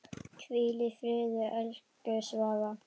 Hvíl í friði, elsku Svava.